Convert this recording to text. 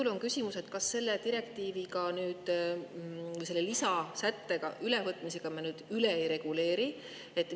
Mul on küsimus: kas selle direktiiviga, selle lisasätte ülevõtmisega me nüüd üle ei reguleeri?